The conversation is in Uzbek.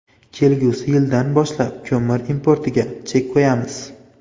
Kelgusi yildan boshlab ko‘mir importiga chek qo‘yamiz.